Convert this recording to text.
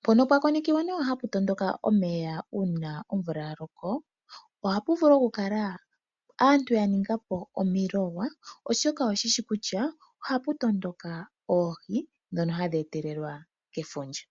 Mpono pwa konekiwa nawa hapu matuka omeya uuna omvula ya loko ohapu vulu okukala aantu ya ningapo omiluga oshoka oye shishi kutya ohapu matuka oohi ndhono hadhi etelelwa kefundja .